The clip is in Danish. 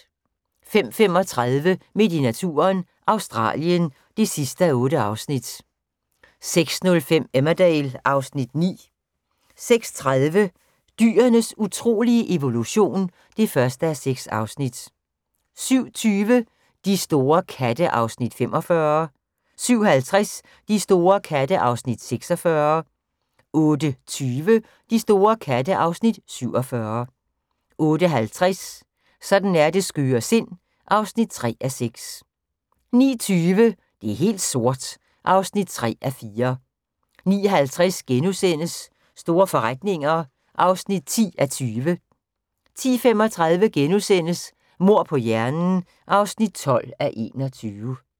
05:35: Midt i naturen – Australien (8:8) 06:05: Emmerdale (Afs. 9) 06:30: Dyrenes utrolige evolution (1:6) 07:20: De store katte (Afs. 45) 07:50: De store katte (Afs. 46) 08:20: De store katte (Afs. 47) 08:50: Sådan er det skøre sind (3:6) 09:20: Det er helt sort (3:4) 09:50: Store forretninger (10:20)* 10:35: Mord på hjernen (12:21)*